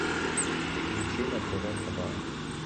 включи на тв хабар